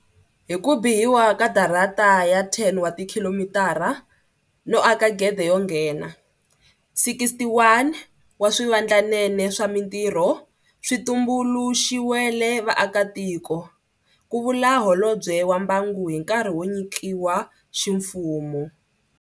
Hi ku bihiwa ka darata ya 10 wa tikhilomitara no aka gede yo nghena, 61 wa swivandlanene swa mitirho swi tumbuluxiwele vaakatiko, ku vula Holobye wa Mbangu hi nkarhi wo nyikiwa ximfumo.